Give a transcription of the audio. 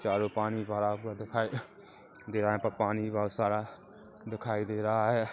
चारो पानी भरा दिखाई दे रहा है पर पानी बहुत सारा दिखाई दे रहा है।